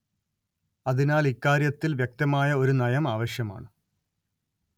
അതിനാല്‍ ഇക്കാര്യത്തില്‍ വ്യക്തമായ ഒരു നയം ആവശ്യമാണ്